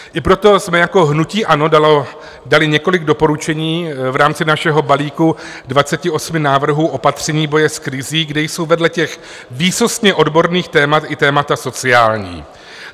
I proto jsme jako hnutí ANO dali několik doporučení v rámci našeho balíku 28 návrhů opatření boje s krizí, kde jsou vedle těch výsostně odborných témat i témata sociální.